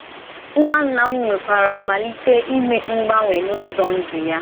Nnà Nnà m nwèrèkwàrà malítè ímè mgbanwè n’ụ́zọ ndú ya.